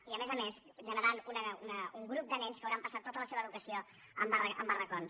i a més a més havent generat un grup de nens que hauran passat tota la seva educació en barracons